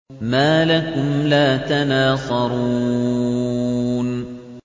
مَا لَكُمْ لَا تَنَاصَرُونَ